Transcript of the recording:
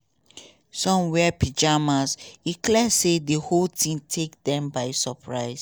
some wear pyjamas e clear say di whole tink take dem by suprise.